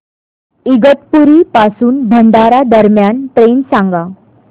इगतपुरी पासून भंडारा दरम्यान ट्रेन सांगा